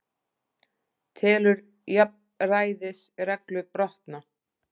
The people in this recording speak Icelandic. Telur jafnræðisreglu brotna